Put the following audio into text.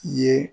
Ye